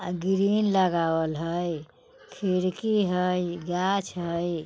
अ-ग्रिन लगावल हई खिड़की हई गाछ हई।